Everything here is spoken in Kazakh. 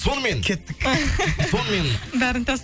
сонымен кеттік сонымен бәрін